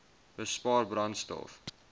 bespaar brandstof